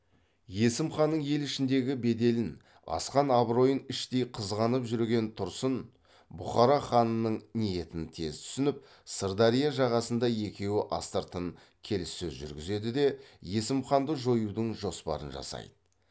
есім ханның ел ішіндегі беделін асқан абыройын іштей қызғанып жүрген тұрсын бұхара ханының ниетін тез түсініп сырдария жағасында екеуі астыртын келіссөз жүргізеді де есім ханды жоюдың жоспарын жасайды